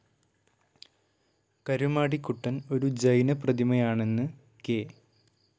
കരുമാടിക്കുട്ടൻ ഒരു ജൈനപ്രതിമയാണെന്ന് കെ.